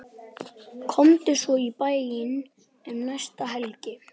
Komdu svo í bæinn um næstu helgi.